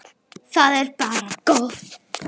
Það er bara gott.